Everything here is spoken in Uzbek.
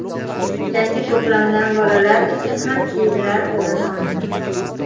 Yangi to‘plamdan bolalar uchun ham kiyimlar o‘rin olgan.